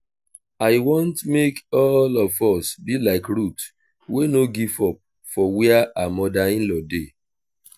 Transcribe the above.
i want make all of us be like ruth wey no give up for where her mother in law dey